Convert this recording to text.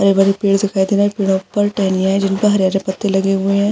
हरे भरे पेड़ दिखाई दे रहे है पेड़ो पर टहनियां जिनपे हरे हरे पत्ते लगे हुए है।